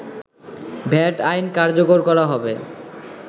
VAT আইন কার্যকর করা হবে